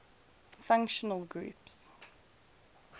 functional groups